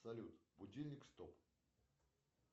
салют будильник стоп